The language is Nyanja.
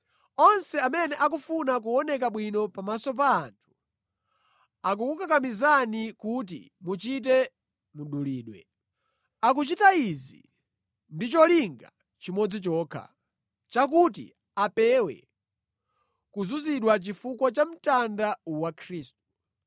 Onse amene akufuna kuoneka abwino pamaso pa anthu akukukakamizani kuti muchite mdulidwe. Akuchita izi ndi cholinga chimodzi chokha, chakuti apewe kuzunzidwa chifukwa cha mtanda wa Khristu.